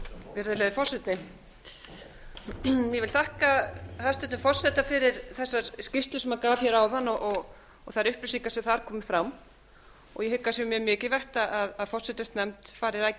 virðulegi forseti ég þakka hæstvirtum forseta fyrir þessa skýrslu sem hún gaf hér áðan og þær upplýsingar sem þar komu fram og ég hygg að sé mikilvægt að forsætisnefnd fari rækilega yfir þetta